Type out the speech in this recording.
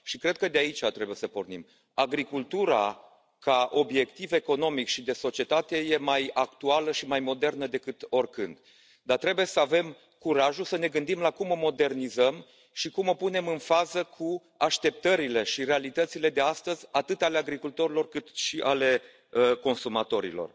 Și cred că de aici trebuie să pornim agricultura ca obiectiv economic și de societate e mai actuală și mai modernă decât oricând, dar trebuie să avem curajul să ne gândim la cum o modernizăm și cum o punem în fază cu așteptările și realitățile de astăzi, atât ale agricultorilor, cât și ale consumatorilor.